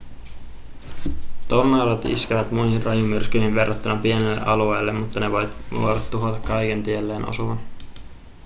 tornadot iskevät muihin rajumyrskyihin verrattuna pienelle alueelle mutta ne voivat tuhota kaiken tielleen osuvan